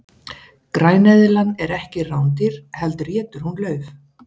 græneðlan er ekki rándýr heldur étur hún lauf